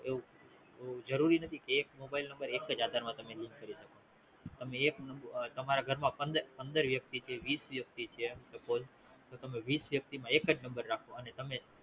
એવું જરૂરી નથી કે એક Mobile number એકજ આધાર માં Link કરી શકો તમે એક તમારા ઘરમાં પંદ પંદર વ્યક્તિ થી વિસ વ્યકતિ છે તો વિસ વ્યક્તિ માં એકજ number રાખો